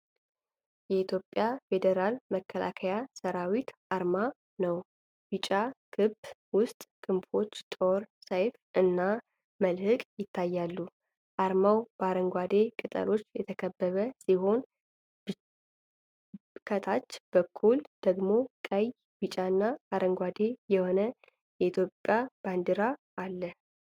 የኢትዮጵያ ፌዴራል መከላከያ ሠራዊት አርማ ነው። ቢጫ ክብ ውስጥ ክንፎች፣ ጦር፣ ሰይፍ እና መልህቅ ይታያሉ። አርማው በአረንጓዴ ቅጠሎች የተከበበ ሲሆን፣ ከታች በኩል ደግሞ ቀይ፣ ቢጫና አረንጓዴ የሆነ የኢትዮጵያ ባንዲራ አለ።